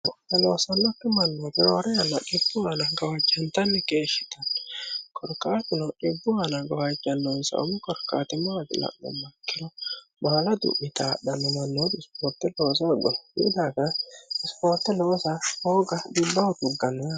eloosonnokki mannoo birooro yanno dibbu ana gowajjantanni keeshshitanni korqaatino dibbu aana gawajjannonsaumu korkaatimo aila'nu makkino maala du'mita dhanmamannoo bisipoorte loosa agono yiu daafa isipoote loosa hooga dudbahu tuggannona